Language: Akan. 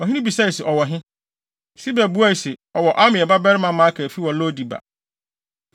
Ɔhene bisae se, “Ɔwɔ he?” Siba buae se, “Ɔwɔ Amiel babarima Makir fi wɔ Lo-debar.”